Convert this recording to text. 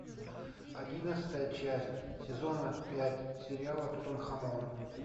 одиннадцатая часть сезона пять сериала тутанхамон